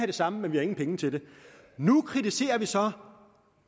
det samme men vi har ingen penge til det nu kritiserer vi så